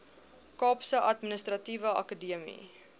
kaapse administratiewe akademie